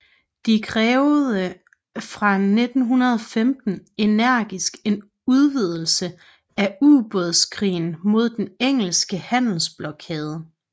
De krævede fra 1915 energisk en udvidelse af ubådskrigen mod den engelske handelsblokade